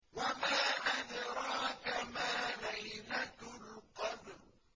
وَمَا أَدْرَاكَ مَا لَيْلَةُ الْقَدْرِ